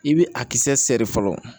I bɛ a kisɛ sɛri fɔlɔ